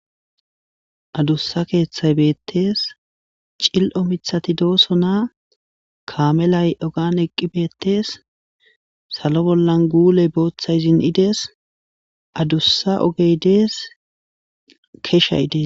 adussa keeththay beettees cil7o mithati dooso naa kaamelay ogan eqqi beettees salo bollan guuley booththay zin7idees adussa ogey dees keshay dees